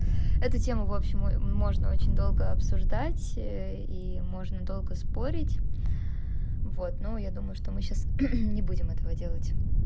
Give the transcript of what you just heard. эта тема вообщем мой можно очень долго обсуждать и можно долго спорить вот ну я думаю что мы сейчас не будем этого делать